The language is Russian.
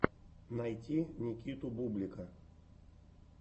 найти никиту бублика